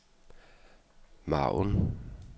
margen